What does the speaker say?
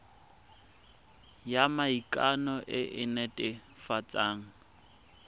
ya maikano e e netefatsang